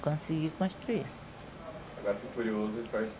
consegui construir. Agora eu fico curioso com a